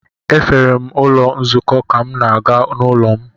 Efere m ụlọ nzukọ ka m na-aga n’ụlọ m.